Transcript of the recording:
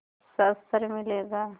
शस्त्र मिलेगा